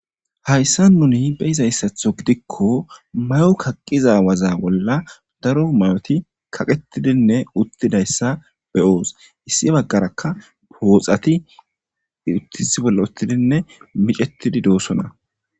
Hayssan nuuni beizayssatho giidikko maayo kaaqqiza waaza bolla daro mayoti kaqqetidinne uttiddayssa be'ossi issi baggarakka pooxxati issi bolla uttidinne miccettidi dossona.